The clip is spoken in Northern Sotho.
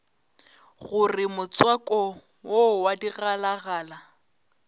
gore motswako wo wa digalagala